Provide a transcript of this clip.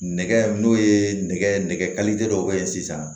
Nɛgɛ n'o ye nɛgɛ nɛgɛ dɔw bɛ ye sisan